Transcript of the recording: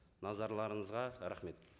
назарларыңызға рахмет